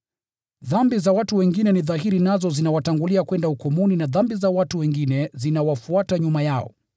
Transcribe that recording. Dhambi za watu wengine ni dhahiri nazo zinawatangulia kwenda hukumuni; na dhambi za watu wengine zinawafuata nyuma yao.